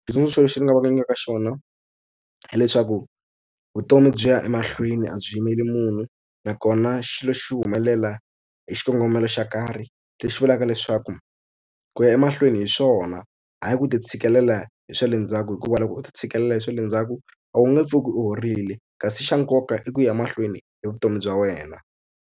Xitsundzuxo lexi ndzi nga va nyikaka xona hileswaku vutomi byi ya emahlweni a byi yimeli munhu nakona xilo xi humelela hi xikongomelo xo karhi leswii vulaka leswaku hi ku ya emahlweni hi swona hayi ku titshikelela hi swa le ndzhaku hikuva loko u titshikelela hi swa le ndzhaku a wu nge pfuki u horile kasi xa nkoka i ku ya mahlweni hi vutomi bya wena.